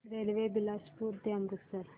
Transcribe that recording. railway Bilaspur ते अमृतसर